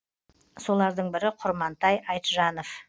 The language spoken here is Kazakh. солардың бірі құрмантай айтжанов